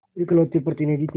इकलौते प्रतिनिधि थे